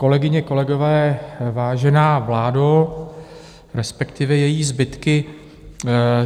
Kolegyně, kolegové, vážená vládo, respektive její zbytky.